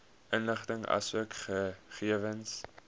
inligting asook gegewens